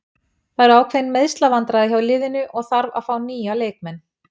Það eru ákveðin meiðslavandræði hjá liðinu og þarf að fá nýja leikmenn.